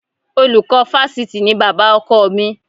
Olùkọ́ Fáṣítì ni bàbá ọkọ mi